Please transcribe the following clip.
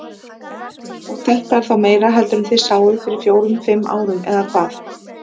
Og þetta er þá meira heldur en þið sáuð fyrir fjórum fimm árum eða hvað?